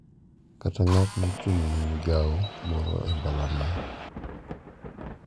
Kata ng’at ma ochung’ ne migawo moro e mbalariany.